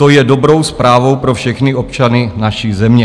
To je dobrou zprávou pro všechny občany naší země."